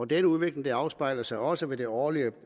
denne udvikling afspejlede sig også ved det årlige